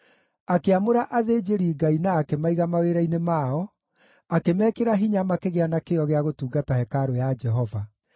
Akĩamũra athĩnjĩri-Ngai na akĩmaiga mawĩra-inĩ mao, akĩmekĩra hinya makĩgĩa na kĩyo gĩa gũtungata hekarũ ya Jehova.